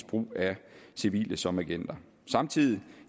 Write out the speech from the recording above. brug af civile som agenter samtidig